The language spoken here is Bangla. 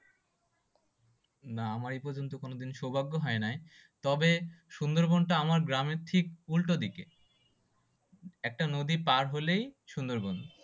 না আমার এই পর্যন্ত কোনোদিন সৌভাগ্য হয় নাই। তবে সুন্দরবনটা আমাদের গ্রামের ঠিক উল্টো দিকে একটা নদী পার হলেই সুন্দরবন।